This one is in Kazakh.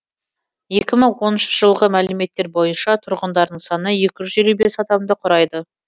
екі мың оныншы жылғы мәліметтер бойынша тұрғындарының саны екі жүз елу бес адамды құрайды